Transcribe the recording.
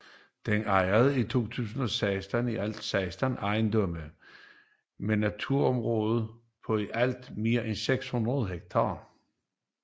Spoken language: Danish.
Den ejede i 2016 i alt 16 ejendomme med naturområder på i alt mere end 600 hektar